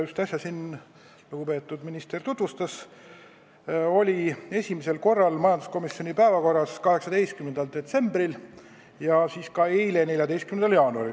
Eelnõu, mida lugupeetud minister just tutvustas, oli esimesel korral majanduskomisjoni istungi päevakorras 18. detsembril ja ka eile, 14. jaanuaril.